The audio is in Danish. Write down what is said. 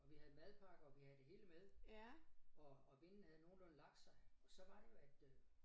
Og vi havde madpakker og vi havde det hele med og og vinden havde nogenlunde lagt sig og så var det jo at øh